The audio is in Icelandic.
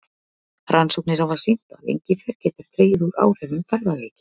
Rannsóknir hafa sýnt að engifer getur dregið úr áhrifum ferðaveiki.